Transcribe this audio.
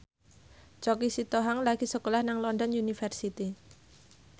Choky Sitohang lagi sekolah nang London University